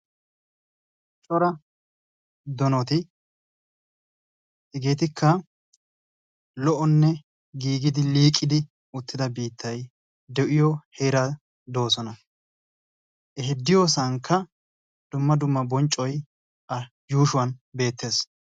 Cora donati, hegeetikka lo"onne giiggidi liiqiidi uttida biittay de'iyo heeran doossona, he diyossankka dumma dumma bonccoy a yuushuwan beettees.